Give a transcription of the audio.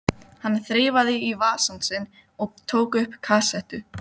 Hann þreifaði í vasann sinn og tók upp kassettu.